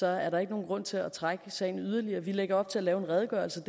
er der ikke nogen grund til at trække sagen yderligere vi lægger op til at lave en redegørelse